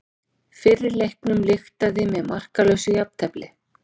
Fyrri leiknum lyktaði með markalausu jafntefli